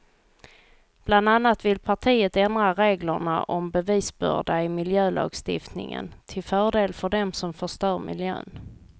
Bland annat vill partiet ändra reglerna om bevisbörda i miljölagstiftningen till fördel för dem som förstör miljön.